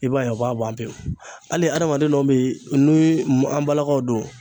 I b'a ye u b'a ban pewu, hali adamaden dɔw bɛ yen ni an balakaw don